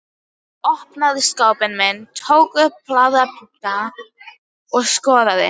Ég opnaði skápinn minn, tók upp blaðabunka og skoðaði.